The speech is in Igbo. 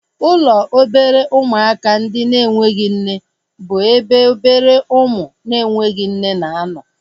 Ụlọ obere ụmụaka ndị enweghị nne bụ ebe obere ụmụ na-enweghị nne na-anọ